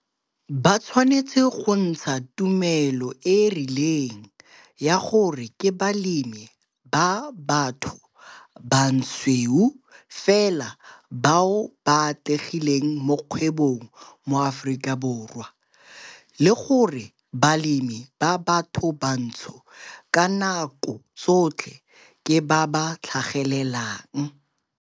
Ba tshwanetse go ntsha tumelo e e rileng ya gore ke balemi ba batho basweu fela bao ba atlegileng mo kgwebong mo Aforika Borwa, le gore balemi ba bathobantsho ka nako tsotlhe 'ke ba ba tlhagelelang'.